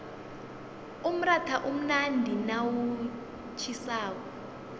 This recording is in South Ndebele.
umratha umnandi nawutjhisako